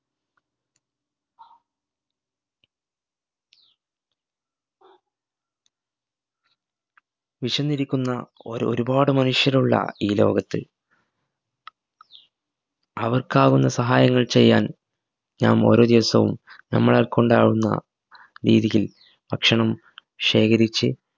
വിശന്നിരിക്കുന്ന ഓർ ഒരുപാട് മനുഷ്യരുള്ള ഈ ലോകത്ത് അവർക്കാവുന്ന സഹായങ്ങൾ ചെയ്യാൻ നാം ഓരോ ദിവസവും നമ്മളാൽ കൊണ്ടാവുന്ന രീതിയിൽ ഭക്ഷണം ശേഖരിച്